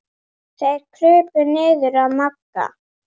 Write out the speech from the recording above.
Þeir krupu niður að Magga.